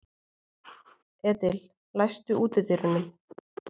Edil, læstu útidyrunum.